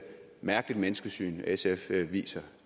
mærkeligt menneskesyn sf viser